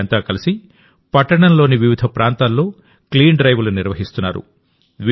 వీరంతా కలిసి పట్టణంలోని వివిధ ప్రాంతాల్లో క్లీన్ డ్రైవ్లు నిర్వహిస్తున్నారు